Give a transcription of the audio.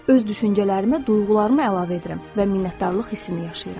Öz düşüncələrimə duyğularımı əlavə edirəm və minnətdarlıq hissini yaşayıram.